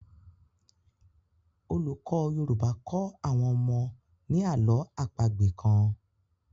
olùkó yorùbá kọ àwọn ọmọ ni àlọ́ àpagbè kán